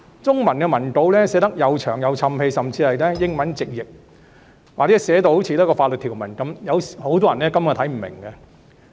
中文版的文稿寫得冗長，甚至是從英文直譯過來，或是寫得如法律條文般，很多人根本看不明白。